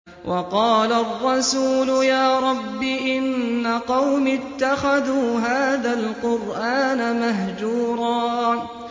وَقَالَ الرَّسُولُ يَا رَبِّ إِنَّ قَوْمِي اتَّخَذُوا هَٰذَا الْقُرْآنَ مَهْجُورًا